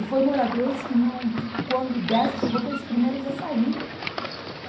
E foi moradores que num, que quando o Dersa chegou, foi os primeiros a sair.